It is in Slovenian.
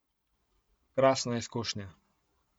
Krasna izkušnja.